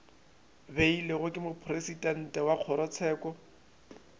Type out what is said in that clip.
beilwego ke mopresidente wa kgorotsheko